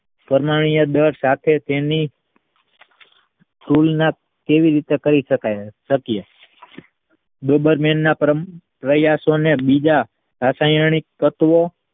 પરમાણીય દળ સાથેની કેવી રીતે કહી શકીયે દેબારમેનના ક્રમ રચ્યા ને રાસાયણિક તત્વો